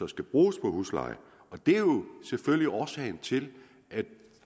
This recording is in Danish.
skal bruges på huslejen det er jo selvfølgelig årsagen til at